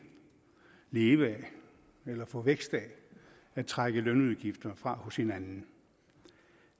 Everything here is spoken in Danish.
leve af eller få vækst af at trække lønudgifter fra hos hinanden